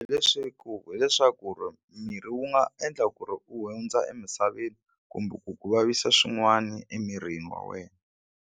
Leswaku hileswaku miri wu nga endla ku ri u hundza emisaveni kumbe ku ku vavisa swin'wana emirini wa wena.